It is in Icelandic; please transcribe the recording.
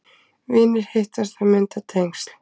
Vinir hittast og mynda tengsl